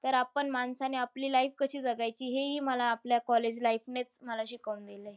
तर आपण माणसाने आपली life कशी जगायची हे ही मला आपल्या college life नेच मला शिकवून दिलंय.